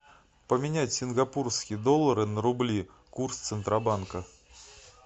поменять сингапурские доллары на рубли курс центробанка